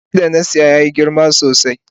Rake da na saya yana da girma sosai.